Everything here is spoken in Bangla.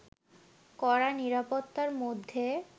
কড়া নিরাপত্তার মধ্যে